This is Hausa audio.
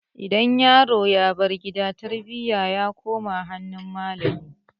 Idan yaro ya bar gida tarbiyyar sa ta koma hannun malamai